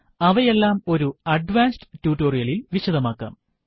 അവയെല്ലാം ഒരു അഡ്വാൻസ് ട്യൂട്ടോറിയലിൽ വിശദമാക്കാം